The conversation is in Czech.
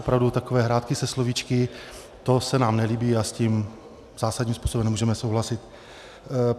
Opravdu takové hrátky se slovíčky, to se nám nelíbí a s tím zásadním způsobem nemůžeme souhlasit.